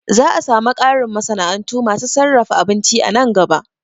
Za'a samu ƙarin masana'antu masu sarrafa abinci a nan gaba